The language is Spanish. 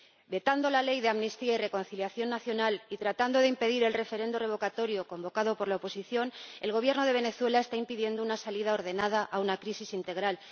Vetando la Ley de Amnistía y Reconciliación Nacional y tratando de impedir el referendo revocatorio convocado por la oposición, el Gobierno de Venezuela está impidiendo una salida ordenada a una crisis integral.